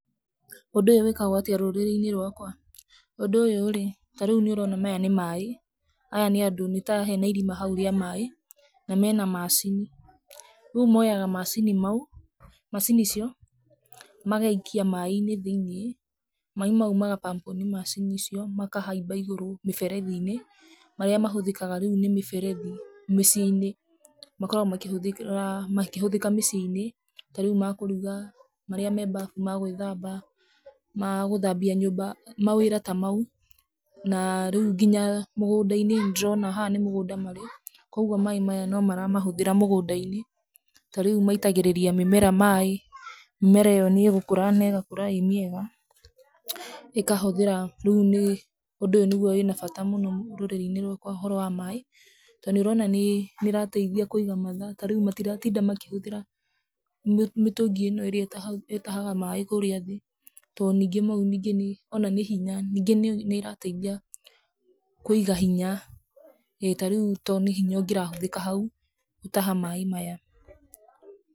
ũndũ ũyũ wĩkagwo atĩa rũrĩrĩ-inĩ rwakwa? Ũndũ ũyũ rĩ, ta rĩu nĩ ũrona maya nĩ maĩ, aya nĩ andũ nĩ ta hena irima hau rĩa maĩ na mena macini. Rĩu moyaga macini mau, macini icio magaikia maaĩ-inĩ thĩiniĩ maaĩ mau magapampũo nĩ macini icio makahaiba igũrũ mĩberethiinĩ marĩa mahũthĩkaga rĩu nĩ mĩberethi, mĩciĩi-inĩ makoragwo makĩhuthĩka mĩciĩ-inĩ, ta rĩu makũruga, marĩa me mbabu magwĩthamba, magũthambia nyũmba, mawĩra ta mau. Na rĩu nginya mũgũnda-inĩ, nĩ ndĩrona haha nĩ mũgũnda-inĩ marĩ na no maramahũthira mũgũnda-inĩ ta rĩu maitagĩrĩria mĩmera maaĩ, mĩmera ĩyo nĩ ĩgũkũra na nĩ ĩgũkũra ĩ mĩega ĩkahũthĩra, rĩu ũndũ ũyũ nĩguo ũrĩa wĩ na bata mũno rũrĩrĩ-inĩ rwakwa ũhoro wa maaĩ to nĩ ũrona nĩ ĩrateithia kũiga mathaa matiratinda makĩhũthĩra mĩtũngi ĩno ĩria ĩtahaga maaĩ kũrĩa thĩ, to nĩngĩ mau ningĩ ona nĩ hinya nyingĩ ona nĩ irateithia kũiga hinya ta rĩu nĩ hinya ũngĩrahũthĩka hau gũtaha maaĩ maya.